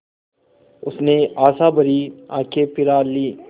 उसने आशाभरी आँखें फिरा लीं